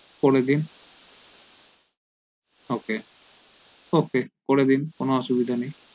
করে দিন ok ok করে দিন কোনো অসুবিধা নেই